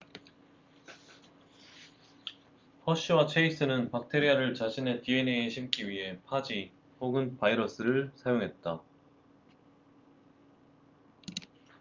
허쉬와 체이스는 박테리아를 자신의 dna에 심기 위해 파지 혹은 바이러스를 사용했다